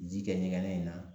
Ji kɛ ɲɛgɛnɛ in na